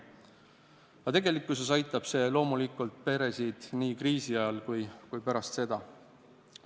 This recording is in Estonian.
Aga tegelikkuses aitab see peresid loomulikult nii kriisi ajal kui ka pärast seda.